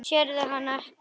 Sérðu hana ekki?